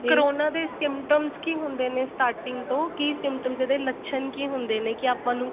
corona ਦੇ symptoms ਕੀ ਹੁੰਦੇ ਨੇ starting ਤੋ ਕੀ symptoms ਇਹਦੇ ਲੱਛਣ ਕੀ ਹੁੰਦੇ ਨੇ ਕੀ ਆਪਾਂ ਨੂੰ